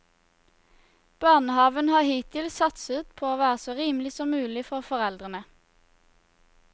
Barnehaven har hittil satset på å være så rimelig som mulig for foreldrene.